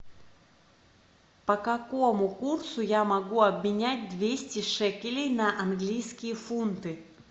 по какому курсу я могу обменять двести шекелей на английские фунты